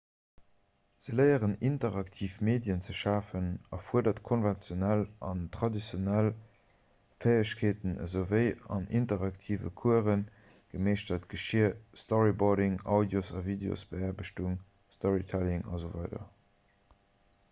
ze léieren interaktiv medien ze schafen erfuerdert konventionell an traditionell fäegkeeten esouwéi an interaktive coursë gemeeschtert geschier storyboarding audios- a videosbeaarbechtung storytelling asw.